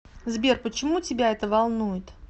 сбер почему тебя это волнует